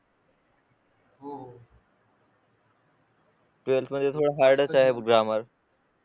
twelfth मध्ये थोडं hard आहे ग्रामर